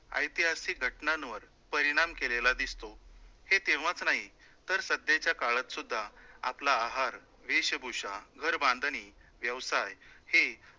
ऐतिहासिक घटनांवर परिणाम केलेल्या दिसतो, हे तेव्हाच नाही तर सध्याच्या काळात सुद्धा आपला आहार, वेशभूषा, घर बांधणी, व्यवसाय हे